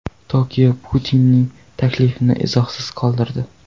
Tokio Putinning taklifini izohsiz qoldirdi.